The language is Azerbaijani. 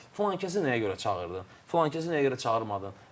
Filankəsi nəyə görə çağırmadın?